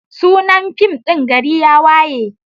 Sunan fim din GARI YA WAYE.